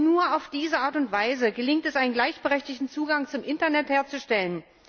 Denn nur auf diese Art und Weise gelingt es, einen gleichberechtigteren Zugang zum Internet herzustellen.